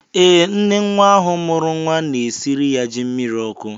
Ee, nne nwa ahụ mụrụ nwa na-esiri ya ji mmiri ọkụ.